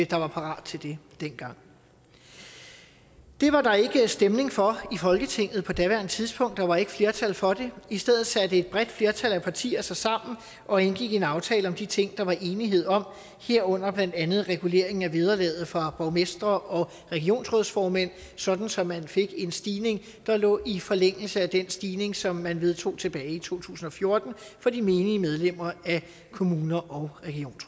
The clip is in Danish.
der var parat til det dengang det var der ikke stemning for i folketinget på daværende tidspunkt der var ikke flertal for det i stedet satte et bredt flertal af partier sig sammen og indgik en aftale om de ting der var enighed om herunder blandt andet regulering af vederlaget for borgmestre og regionsrådsformænd sådan så man fik en stigning der lå i forlængelse af den stigning som man vedtog tilbage i to tusind og fjorten for de menige medlemmer af kommuner og